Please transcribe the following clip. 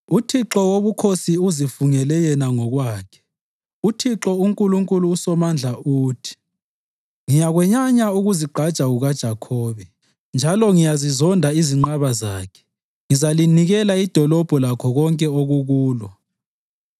UThixo Wobukhosi uzifungele yena ngokwakhe, uThixo uNkulunkulu uSomandla uthi: “Ngiyakwenyanya ukuzigqaja kukaJakhobe njalo ngiyazizonda izinqaba zakhe; ngizalinikela idolobho lakho konke okukulo.”